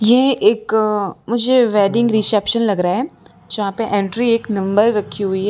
यह एक अ मुझे वेडिंग रिसेप्शन लग रहा है जहां पे एंट्री एक नंबर रखी हुई है।